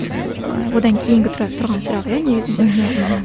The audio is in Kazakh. ол одан кейінгі тұрады тұрған сұрақ иә негізінде мхм мхм